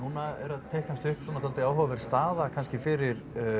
að teiknast upp svona dálítið áhugaverð staða kannski fyrir